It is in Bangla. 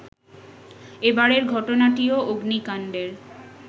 এবারের ঘটনাটিও অগ্নিকাণ্ডের